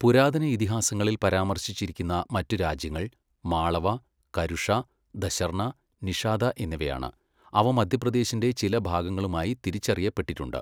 പുരാതന ഇതിഹാസങ്ങളിൽ പരാമർശിച്ചിരിക്കുന്ന മറ്റ് രാജ്യങ്ങൾ മാളവ, കരുഷ, ദശർണ, നിഷാദ എന്നിവയാണ്, അവ മധ്യപ്രദേശിന്റെ ചില ഭാഗങ്ങളുമായി തിരിച്ചറിയപ്പെട്ടിട്ടുണ്ട്.